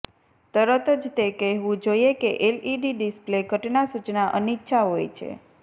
તરત જ તે કહેવું જોઈએ કે એલઇડી ડિસ્પ્લે ઘટના સૂચના અનિચ્છા હોય છે